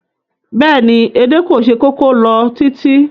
Bẹ́ẹ̀ni, edé kò se kókó lọ títí